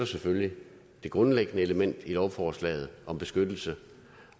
selvfølgelig det grundlæggende element i lovforslaget om beskyttelse